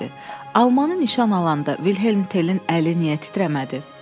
"Almanı nişan alanda Vilhelm Telin əli niyə titrəmədi?"